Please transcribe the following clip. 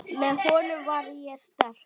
Með honum var ég sterk.